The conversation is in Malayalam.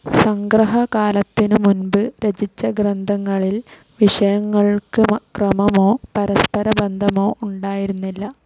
സംഗ്രഹകാലത്തിനു മുൻപ് രചിച്ച ഗ്രന്ഥങ്ങളിൽ വിഷയങ്ങൾക്ക് ക്രമമോ, പരസ്പര ബന്ധമോ ഉണ്ടായിരുന്നില്ല.